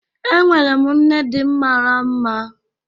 Enwere m nne di mara mma